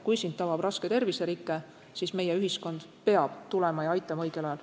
Kui sind tabab raske terviserike, siis meie ühiskond peab tulema ja aitama õigel ajal.